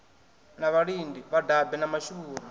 na vhalidi vhadabe na mashuvhuru